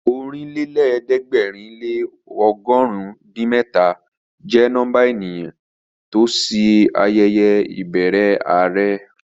Ọ̀rìnlẹ́lẹ̀ẹ́dẹ̀gbẹ̀rin lé ọgọ̀run din mẹ́ta jẹ́ nọ́mbà ènìyàn ló lọ sí ayẹyẹ ìbẹrẹ are